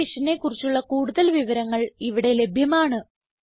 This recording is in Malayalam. ഈ മിഷനെ കുറിച്ചുള്ള കുടുതൽ വിവരങ്ങൾ ഇവിടെ ലഭ്യമാണ്